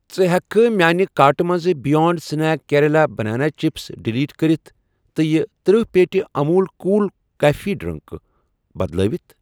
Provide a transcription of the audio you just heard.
ژٕ ہیٚکھکھٕ میانہِ کارٹہٕ مَنٛز بِیانٛڈ سنیک کیرلہ کیلہٕ چَپس ڈِلیٖٹ کٔرِتھ تہٕ یہِ تٔرہ پیٹہِ اموٗل کوٗل کیفے ڈرٛنٛک بدلٲوِتھ؟